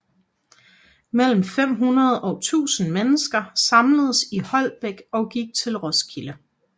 Mellem 500 og 1000 mennesker samledes i Holbæk og gik til Roskilde